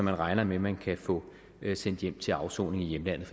regner med man kan få sendt hjem til afsoning i hjemlandene